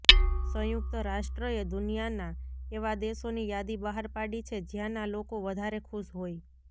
સંયુક્ત રાષ્ટ્રએ દુનિયાના એવા દેશોની યાદી બહાર પાડી છે જ્યાંના લોકો વધારે ખુશ હોય